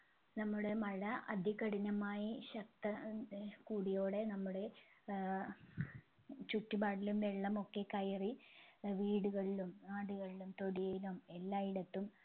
നമ്മുടെ മഴ അതികഠിനമായി ശക്ത ഏർ കൂടിയോടെ നമ്മുടേ ഏർ ചുറ്റുപാടിലും വെള്ളമൊക്കെ കയറി ഏർ വീടുകളിലും നാടുകളിലും തൊടിയിലും എല്ലായിടത്തും